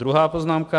Druhá poznámka.